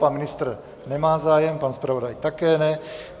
Pan ministr nemá zájem, pan zpravodaj také ne.